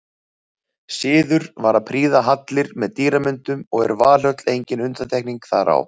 Siður var að prýða hallir með dýramyndum og er Valhöll engin undantekning þar á.